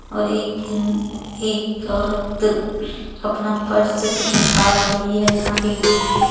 और एक अम्-एक औरत अपना पर्स से कुछ निकाल रही है यहां एक बुढ़ी भी--